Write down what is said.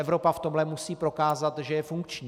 Evropa v tomhle musí prokázat, že je funkční.